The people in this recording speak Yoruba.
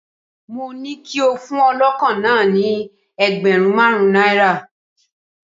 Mó ní kí o fún ọlọ́kọ̀ náà ni ẹgbẹ̀rún márùn-ún náírà.